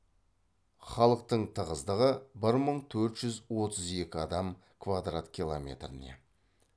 халықтың тығыздығы бір мың төрт жүз отыз екі адам квадрат километріне